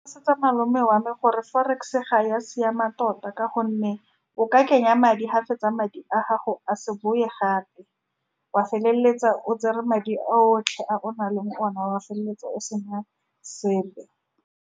Malome wa me gore forex-e ga ya siama, tota ka gonne o ka kenya madi, fa o fetsa madi a gago a se boe gape, wa feleletsa o tsere madi a otlhe a o nang le one, wa feleletsa o se na sepe.